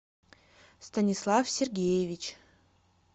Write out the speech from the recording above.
станислав сергеевич